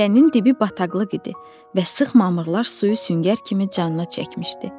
Dərənin dibi bataqlıq idi və sıx mamırlar suyu süngər kimi canına çəkmişdi.